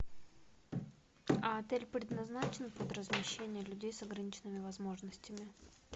а отель предназначен под размещение людей с ограниченными возможностями